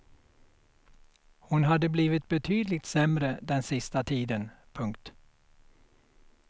Hon hade blivit betydligt sämre den sista tiden. punkt